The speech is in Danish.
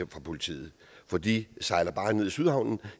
politiet for de sejler bare ned i sydhavnen og